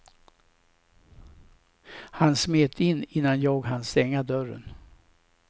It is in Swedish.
Han smet in innan jag hann stänga dörren.